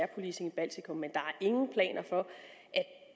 policing i baltikum men der